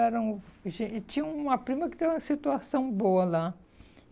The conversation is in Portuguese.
Eram e tinha uma prima que tinha uma situação boa lá.